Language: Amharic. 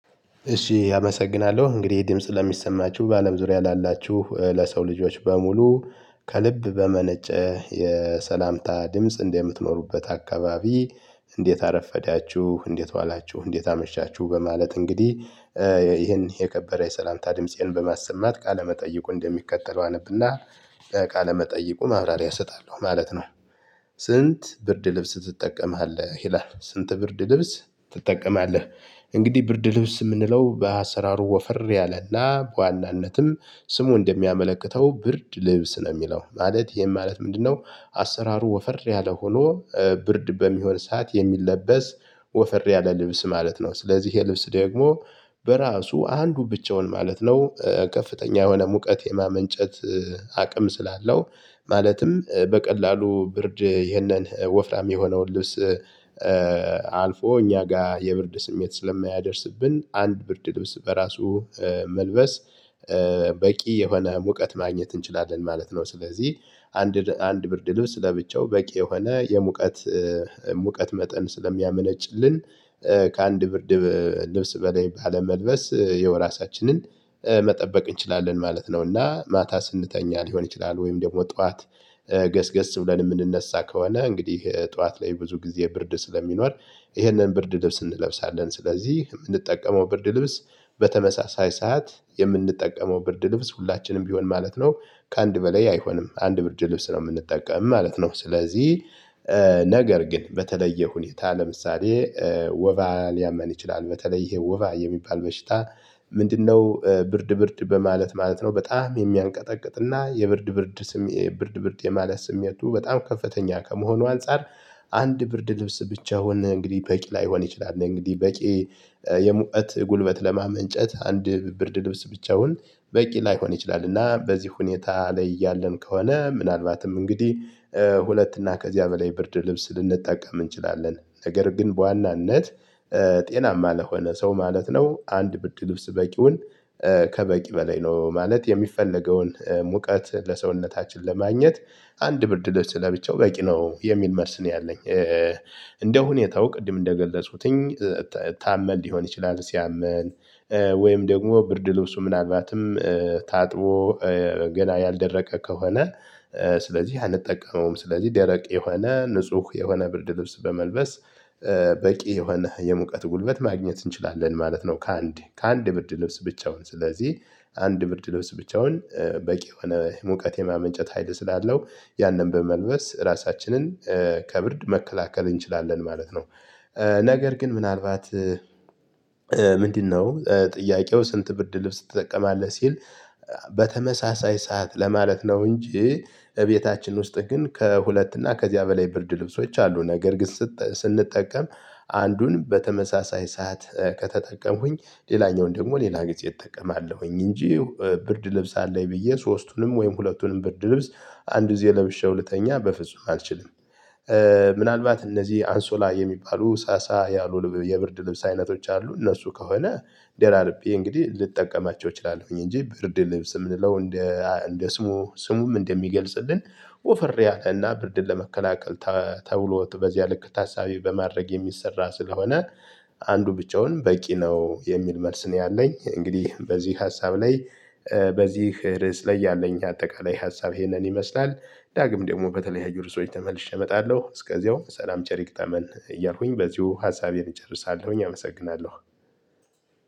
እሺ አመሰግናለሁ እንግዲህ ድምጽ ለሚሰማችሁ በአለም ዙሪያ ላላችሁ ለሰው ልጆች በሙሉ ከልብ በመነጨ የሰላምታ ድምጽ እንደምትኖሩበት አካባቢ። እንዴት አረፈዳችሁ እንዴት ዋላችሁ እንዴት አመሻችሁ በማለት እንግዲህ። ይሄን የከበረ የሰላምታ ድምፄን በማሰማት ቃለመጠይቁ እንደሚከተለው አነብና ቃለመጠይቁ ማብራሪያ እሰጣለሁ ማለት ነው። ስንት ብርድ ልብስ ትጠቀማለህ ይላል ስንት ብርድ ልብስ ትጠቀማለህ? እንግዲህ ብርድ ልብስ የምንለው በአሰራሩ ወፈር ያለና በዋናነትም ስሙ እንደሚያመለክተው ብርድ ልብስ ነው የሚለው ማለት ይሄን ማለት ምንድነው? አሰራሩ ወፈር ያለ ሆኖ ብርድ በሚሆን ሰዓት የሚለበስ ወፈር ያለ ልብስ ማለት ነው። ስለዚህ የልብስ ደግሞ በራሱ አንዱ ብቻውን ማለት ነው። ከፍተኛ የሆነ ሙቀት የማመንጨት አቅም ስላለው። ማለትም በቀላሉ ብርድ ይሄንን ወፍራም የሆነውን ልብስ አልፎ እኛ ጋር የብርድ ስሜት ስለማያደርስብን አንድ ብርድ ልብስ በራሱ መልበስ በቂ የሆነ ሙቀት ማግኘት እንችላለን ማለት ነው። ስለዚህ አንድ አንድ ብርድ ልብስ ለብቻው በቂ የሆነ የሙቀት ሙቀት መጠን ስለሚያመነጭልን። ከአንድ ብርድ ልብስ በላይ ባለመልበስ ያው እራሳችንን መጠበቅ እንችላለን ማለት ነው። እና ማታ ስንተኛ ሊሆን ይችላል ወይም ደግሞ ጠዋት ገስገስ ብለን የምንነሳ ከሆነ እንግዲህ ጠዋት ላይ ብዙ ጊዜ ብርድ ስለሚኖር። ይህንን ብርድ ልብስ እንለብሳለን ስለዚህ የምንጠቀመው ብርድ ልብስ በተመሳሳይ ሰዓት የምንጠቀመው ብርድ ልብስ ሁላችንም ቢሆን ማለት ነው። ከአንድ በላይ አይሆንም አንድ ብርድ ልብስ ነው የምንጠቀመው ማለት ነው። ስለዚህ ነገር ግን በተለየ ሁኔታ ለምሳሌ ወባ ሊያመን ይችላል። በተለይ ይሄ ወባ የሚባል በሽታ ምንድነው? ብርድ ብርድ በማለት ማለት ነው በጣም የሚያንቀጠቅጥና የብርድ ብርድ ብርድ የማለት ስሜቱ በጣም ከፍተኛ ከመሆኑ አንፃር አንድ ብርድ ልብስ ብቻውን እንግዲህ በቂ ላይሆን ይችላል። እንግዲህ በቂ የሙቀት ጉልበት ለማመንጨት አንድ ብርድ ልብስ ብቻውን በቂ ላይሆን ይችላል። እና በዚህ ሁኔታ ላይ ያለን ከሆነ ምናልባትም እንግዲህ ሁለት እና ከዚያ በላይ ብርድ ልብስ ልንጠቀም እንችላለን። ነገር ግን በዋናነት ጤናማ ለሆነ ሰው ማለት ነው። አንድ ብድ ልብስ በቂውን ከበቂ በላይ ነው ማለት የሚፈለገውን ሙቀት ለሰውነታችን ለማግኘት አንድ ብርድ ለብቻው በቂ ነው የሚል መልስ ነው። ያለኝ እንደ ሁኔታው ቅድም እንደገለጹትኝ ታመል ሊሆን ይችላል። ሲያምን ወይም ደግሞ ብርድ ልብሱ ምናልባትም ታጥቦ ገና ያልደረቀ ከሆነ። ስለዚህ አንጠቀመውም ስለዚህ ደረቅ የሆነ ንጹህ የሆነ ብርድ ልብስ በመልበስ በቂ የሆነ የሙቀት ጉልበት ማግኘት እንችላለን ማለት ነው። ከአንድ ከአንድ ብርድ ልብስ ብቻውን ስለዚህ አንድ ብርድ ልብስ ብቻውን በቂ የሆነ ሙቀት የማመንጨት ሀይል ስላለው ያንን በመልበስ ራሳችንን ከብርድ መከላከል እንችላለን ማለት ነው። ነገር ግን ምናልባት ምንድነው? ጥያቄው ስንት ብርድ ልብስ ትጠቀማለህ ሲል በተመሳሳይ ሰዓት ለማለት ነው። እንጂ እቤታችን ውስጥ ግን ከሁለት እና ከዚያ በላይ ብርድ ልብሶች አሉ። ነገር ግን ስንጠቀም አንዱን በተመሳሳይ ሰዓት ከተጠቀምኩኝ ሌላኛውን ደግሞ ሌላ ጊዜ እጠቀማለሁኝ እንጂ ብርድ ልብስ አለኝ ብዬ ሶስቱንም ወይም ሁለቱንም ብርድ ልብስ አንድ እዚህ ለምሼው ልተኛ በፍጹም አልችልም። ምናልባት እነዚህ አንሶላ የሚባሉ ሳሳ ያሉ የብርድ ልብስ አይነቶች አሉ እነሱ ከሆነ ዴራርቤ እንግዲህ ልጠቀማቸው እችላለሁኝ። እንጂ ብርድ ልብስ የምንለው እንደ እንደ ስሙ እንደሚገልጽልን። ወፈር ያለ እና ብርድን ለመከላከል ተብሎ በዚያ ልክ ታሳቢ በማድረግ የሚሰራ ስለሆነ። አንዱ ብቻውንም በቂ ነው የሚል መልስ ነው ያለኝ። እንግዲህ በዚህ ሀሳብ ላይ በዚህ ርዕስ ላይ ያለኝ አጠቃላይ ሀሳብ ይሄንን ይመስላል። ዳግም ደግሞ በተለይ አይደለም ርዕሶች ተመልሼ እመጣለሁ እስከዚያው ሰላም ቸር ይግጠመን እያልኩኝ በዚሁ ሀሳቤን እጨርሳለሁኝ። አመሰግናለሁ።